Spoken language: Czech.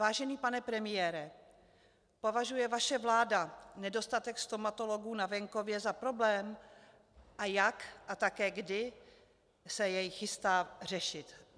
Vážený pane premiére, považuje vaše vláda nedostatek stomatologů na venkově za problém a jak a také kdy se jej chystá řešit?